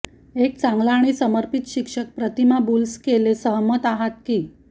एक चांगला आणि समर्पित शिक्षक प्रतिमा बुल्स केले सहमत आहात की